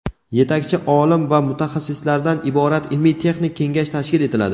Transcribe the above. yetakchi olim va mutaxassislardan iborat ilmiy-texnik kengash tashkil etiladi.